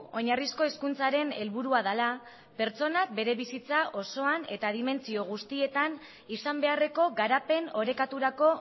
oinarrizko hezkuntzaren helburua dela pertsonak bere bizitza osoan eta dimentsio guztietan izan beharreko garapen orekaturako